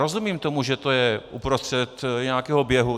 Rozumím tomu, že to je uprostřed nějakého běhu.